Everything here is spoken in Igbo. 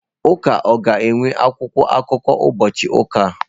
Ụka ọ ga-enwe akwụkwọ akụkọ ụbọchị ụka a?